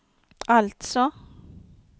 alltså